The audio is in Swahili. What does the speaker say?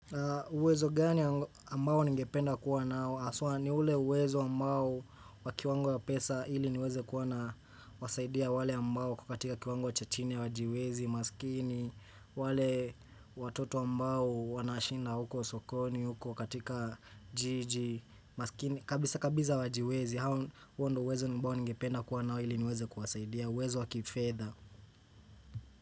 Uwezo gani ambao ningependa kuwa nao? Aswa ni ule uwezo ambao wakiwango ya pesa ili niweze kuwa na wasaidia wale ambao kukatika kiwango ya chani wajiwezi, masikini wale watoto ambao wanashinda huko sokoni huko katika jiji, maskini kabisa kabisa hawajiwezi, hao ndo uwezo ambao ningependa kuwa nao ili niweze kuwasaidia, uwezo wakifedha.